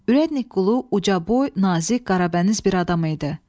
Ürədniki qulu ucaboy, nazik, qarabəniz bir adam idi.